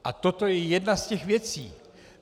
A toto je jedna z těch věcí.